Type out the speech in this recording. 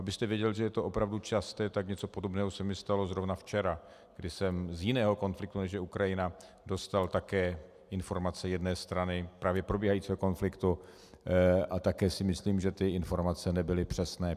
Abyste věděl, že je to opravdu časté, tak něco podobného se mi stalo zrovna včera, kdy jsem z jiného konfliktu, než je Ukrajina, dostal také informace jedné strany právě probíhajícího konfliktu, a také si myslím, že ty informace nebyly přesné.